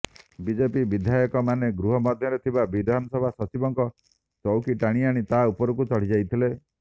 BJP ବିଧାୟକମାନେ ଗୃହ ମଧ୍ୟରେ ଥିବା ବିଧାନସଭା ସଚିବଙ୍କ ଚୌକି ଟାଣିଆଣି ତା ଉପରକୁ ଚଢ଼ି ଯାଇଥିଲେ